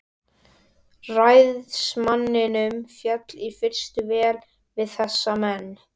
Ræðismanninum féll í fyrstu vel við þessa menn.